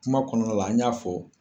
Kuma kɔnɔna la an y'a fɔ.